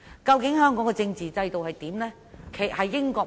究竟香港的政治制度應如何？